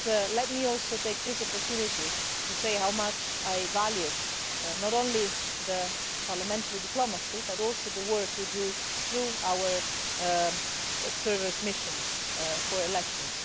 Let me also take this opportunity to say how much I value not only parliamentary diplomacy, but also the work we do through our observer mission for elections.